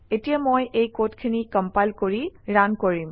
এতিয়া মই এই কডখিনি কম্পাইল কৰি ৰান কৰিম